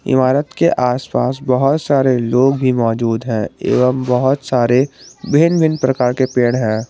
इमारत के आस पास बहुत सारे लोग भी मौजूद है एवंम बहुत सारे भिन भिन प्रकार के पेड़ हैं।